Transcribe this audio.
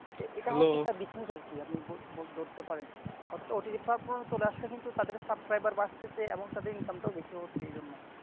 এটা একটি business আর কি ধরতে পারেন OTT platform চলে আসছে কিন্তু তাদের subscriber বাড়তেছে income টাও বেশি হচ্ছে এই জন্য ।